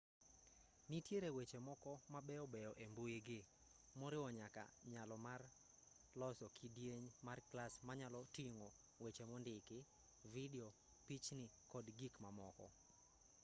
nitiere weche moko ma beyobeyo e mbuigi moriwo nyaka nyalo mar loso kidieny mar klas manyalo ting'o weche mondiki vidio pichni kod gik mamoko